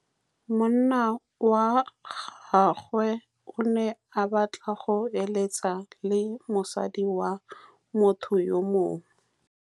Monna wa gagwe o ne a batla go êlêtsa le mosadi wa motho yo mongwe.